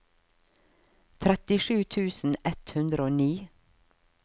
trettisju tusen ett hundre og ni